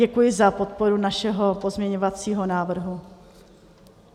Děkuji za podporu našeho pozměňovacího návrhu.